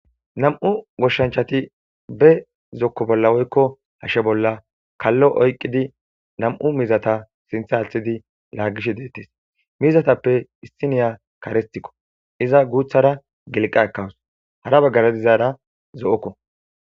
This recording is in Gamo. nam7u goshshanchati be zokko bolla woykko hashshe bolla kallo oyqqidi nam7u mizata sintha althidi laagish deettis mizatappe issiniya karistikko iza guuthara giliqa ekawus hara baggara dizaara zo7okko